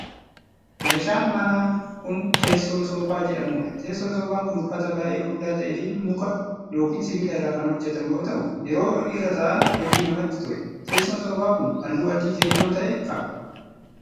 Meeshaan manaa kun, teessoo soofaa jedhamuu dha. Teessoon soofaa kun uffata baay'ee furdaa ta'ee fi nuka yookin sibiila irraa kan hojjatamu yoo ta'u, yeroo irra ta'an hedduu namatti tola. Teessoon soofaa kun, haalluu adii keelloo ta'e qaba.